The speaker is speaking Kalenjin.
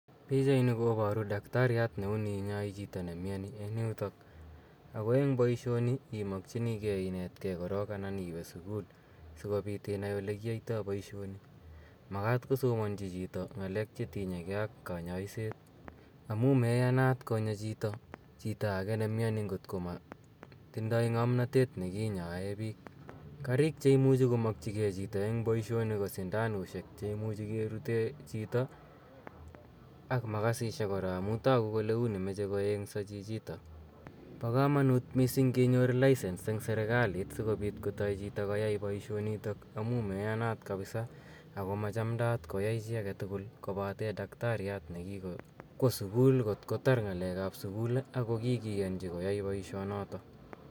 Pichaini koporu daktariat ne uni inyoi chito nemioni eng yutok ako eng poishini imokchinikei inetkei korok anan iwe sukul sikobit inai olekiyoitoi boishoni. Makat kosomonchi chito ng'alek chetinyekei ak kanyoiset amu meyanat konya chito chito ake nemioni nkot ko motindoi ng'omnatet nekinyoe biik. Karik cheimuchi komokchikei chito eng boishoni ko sindanushek cheimuchi kerute chito ak makasishek kora amu toku kole uni meche koeng'so chichitok. Po komonut mising kenyor lisence eng serikalit sikobit kotoi chito koyai boishonitok amu meyanat kapisa ako machamdaat koyai chi aketukul kobate daktariat nekikwo sukul nkot kotar ng'alekap sukul akikiyonchi koyai poishonoto.